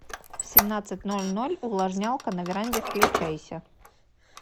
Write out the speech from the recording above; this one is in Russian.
в семнадцать ноль ноль увлажнялка на веранде включайся